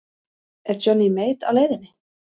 Er Johnny Mate á leiðinni?